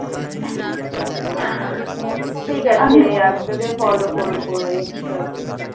ঠিক আছে আমি তোকে follow করবো ইন্সটা তে